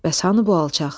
Bəs hanı bu alçaq?